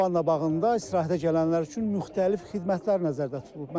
Lavanda bağında istirahətə gələnlər üçün müxtəlif xidmətlər nəzərdə tutulub.